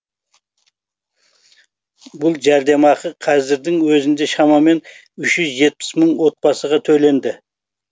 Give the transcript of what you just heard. бұл жәрдемақы қазірдің өзінде шамамен үш жүз жетпіс мың отбасыға төленді